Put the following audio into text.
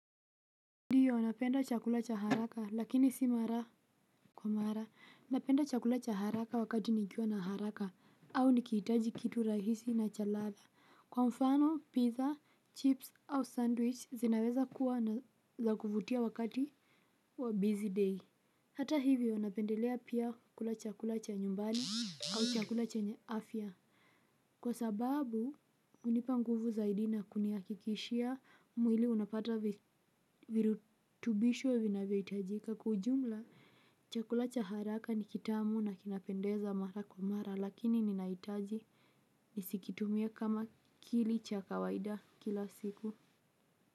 Ndio, napenda chakula cha haraka lakini si mara kwa mara. Napenda chakula cha haraka wakati nikiwa na haraka au nikihitaji kitu rahisi na cha ladha. Kwa mfano, pizza, chips au sandwich zinaweza kuwa za kuvutia wakati wa busy day. Hata hivyo, napendelea pia kula chakula cha nyumbani au chakula chenye afya. Kwa sababu, hunipa nguvu zaidi na kunihakikishia mwili unapata virutubisho vinavyohitajika. Kwa ujumla, chakula cha haraka ni kitamu na kinapendeza mara kwa mara, lakini ninahitaji nisikitumie kama kili cha kawaida kila siku.